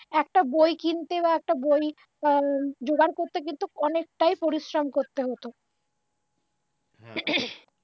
একটা বই কিনতে বা একটা যোগার করতে কিন্তু অনেকটাই পরিশ্রম করতে হত গলাখাঁকারি